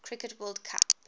cricket world cup